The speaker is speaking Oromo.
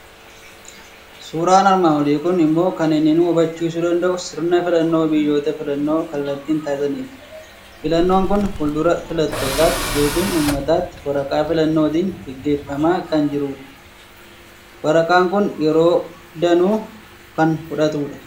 Suuraan armaan olii kun immoo kan inni nu hubachiisuu danda'u sirna filannoo biyyoota filannoo kallattiin taasisaniiti. Filannoon kun fuuldura filattootaatti yookiin uummataatti waraqaa filannootiin gaggeeffamaa kan jirudha. Waraqaan kun yeroo danuu kan fudhatudha.